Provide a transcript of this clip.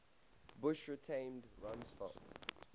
bush retained rumsfeld